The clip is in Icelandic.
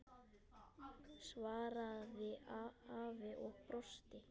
svaraði afi og brosti.